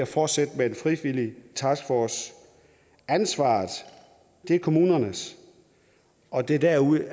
fortsætter med en frivillig taskforce ansvaret er kommunernes og det er derude